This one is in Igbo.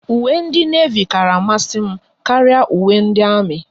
Uwe ndị Nevi kara amasị m karịa uwe ndị Armi